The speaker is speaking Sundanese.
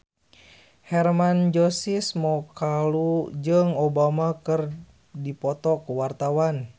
Hermann Josis Mokalu jeung Obama keur dipoto ku wartawan